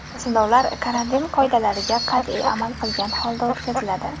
Sinovlar karantin qoidalariga qat’iy amal qilgan holda o‘tkaziladi.